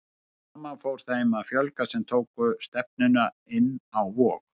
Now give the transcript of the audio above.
Smám saman fór þeim að fjölga sem tóku stefnuna inn á Vog.